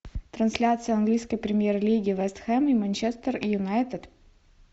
трансляция английской премьер лиги вест хэм и манчестер юнайтед